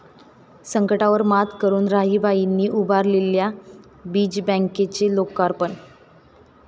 संकटांवर मात करून राहीबाईंनी उभारलेल्या बीज बँकेचं लोकार्पण